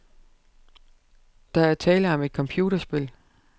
Der er tale om et computerspil.